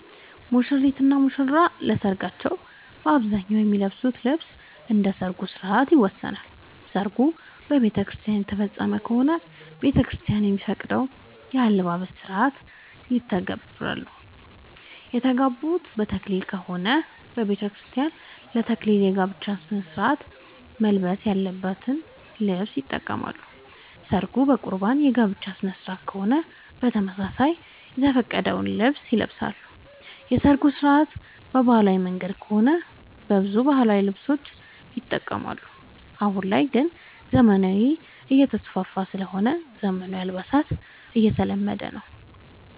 ሙሽሪት እና ሙሽራ ለሰርካቸው በአብዛኛው የሚለብሱት ልብስ እንደ ሠርጉ ስነስርዓት ይወሰናል። ሰርጉ በቤተክርስቲያን የተፈፀመ ከሆነ ቤተክርስቲያን የሚፈቅደውን የአለባበስ ስነስርዓት ይተገብራሉ። የተጋቡት በተክሊል ከሆነ በቤተክርስቲያን ለ ተክሊል የጋብቻ ስነስርዓት መልበስ ያለበትን ልብስ ይጠቀማሉ። ሰርጉ በቁርባን የጋብቻ ስነስርዓት ከሆነም በተመሳሳይ የተፈቀደውን ልብስ ይለብሳሉ። የሰርጉ ስነስርዓት በባህላዊ መንገድ ከሆነ በብዛት ባህላዊ ልብሶችን ይጠቀማሉ። አሁን ላይ ግን ዘመናዊነት እየተስፋፋ ስለሆነ ዘመናዊ አልባሳት እየተለመደ ነው።